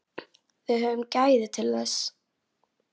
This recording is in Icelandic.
Höfum við gæðin til þess?